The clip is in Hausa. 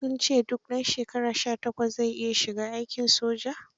Suj ce duk ɗan shekara 18 zai iya shiga aikin soja.